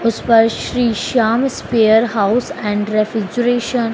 उस पर Shri Shyam spare house and refrigeration --